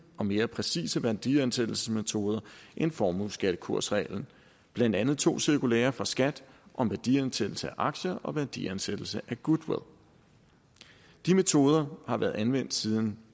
og mere præcise værdiansættelsesmetoder end formueskattekursreglen blandt andet i to cirkulærer fra skat om værdiansættelse af aktier og værdiansættelse af goodwill de metoder har været anvendt siden